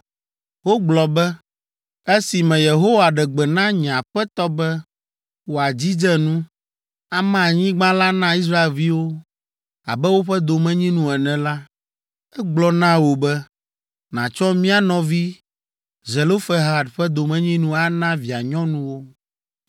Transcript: Wogblɔ be, “Esime Yehowa ɖe gbe na nye aƒetɔ be wòadzidze nu, ama anyigba la na Israelviwo abe woƒe domenyinu ene la, egblɔ na wò be, nàtsɔ mía nɔvi Zelofehad ƒe domenyinu ana via nyɔnuwo.